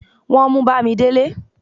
wọn mú bamidele